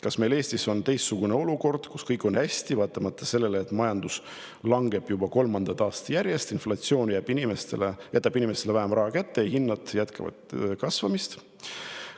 Kas meil Eestis on teistsugune olukord, kas meil on kõik hästi, vaatamata sellele, et majandus langeb juba kolmandat aastat järjest, inflatsioon jätab inimestele vähem raha kätte ja hinnad jätkavad kasvamist?